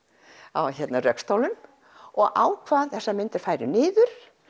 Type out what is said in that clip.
á rökstólum og ákvað að þessar myndir færu niður